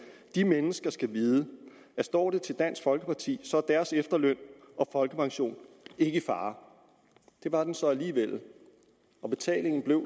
de mennesker skal vide at står det til dansk folkeparti så er deres efterløn og folkepension ikke i fare det var den så alligevel og betalingen blev